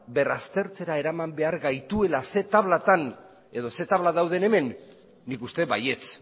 berraztertzera eraman behar gaituela zein tabla dauden hemen nik uste baietz